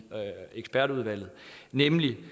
ekspertudvalget nemlig